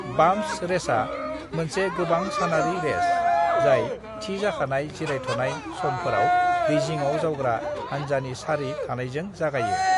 Bumps रेसा मोनसे गोबां-सानारि रेस, जाय थिजाखानाय जिरायथ'नाय समफोराव दैजिङाव जावग्रा हानजानि सारि थानायजों जागायो।